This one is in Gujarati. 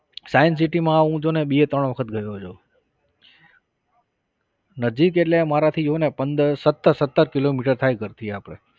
science city માં હું જો ને બે ત્રણ વખત ગયો છુ. નજીક એટલે અમારાથી જો ને પંદર સત્તર સત્તર કિલોમીટર થાય ઘરથી આપણે.